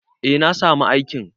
Eh na samu aikin.